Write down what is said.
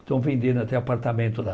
Estão vendendo até apartamento lá.